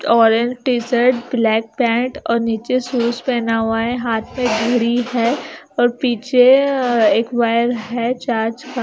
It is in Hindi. ऑरेंज टी-शर्ट ब्लैक पैंट और नीचे शूज पहना हुआ है हाथ में घड़ी है और पीछे एक वायर है चार्ज का --